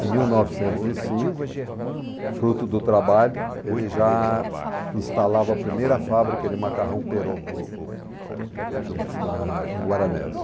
Em mil novecentos e cinco, fruto do trabalho, ele já instalava a primeira fábrica de macarrão peroco no na... em Guaranésia.